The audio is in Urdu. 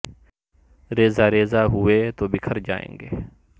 ریزہ ریزہ ہو ئے تو بکھر جا ئیں گے